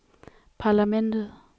parlamentet